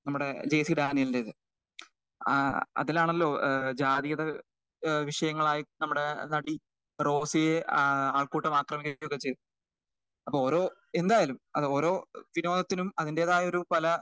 നമ്മുടെ ആഹ് D C രാമേന്ദ്രന്റെ ആഹ് അതിലാണല്ലോ ഏഹ് ജാതീയതഏഹ് വിഷയങ്ങളായിട്ടും ഏഹ് നമ്മുടെ നടി റോഷിയെ ഒക്കെ ചെയ്തത് അപ്പൊ ഓരോ എന്താണെങ്കിലും ഓരോ വിനോദത്തിലും അതിൻ്റെതായുള്ള പല.